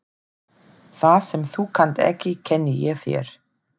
Það sem þú kannt ekki kenni ég þér.